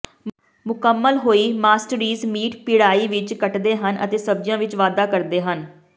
ਮੁਕੰਮਲ ਹੋਈ ਮਾਸਟਰੀਜ਼ ਮੀਟ ਪਿੜਾਈ ਵਿੱਚ ਕੱਟਦੇ ਹਨ ਅਤੇ ਸਬਜ਼ੀਆਂ ਵਿੱਚ ਵਾਧਾ ਕਰਦੇ ਹਨ